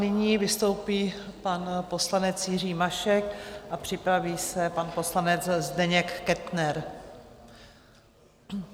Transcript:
Nyní vystoupí pan poslanec Jiří Mašek a připraví se pan poslanec Zdeněk Kettner.